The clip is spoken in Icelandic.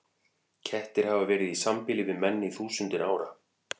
Kettir hafa verið í sambýli við menn í þúsundir ára.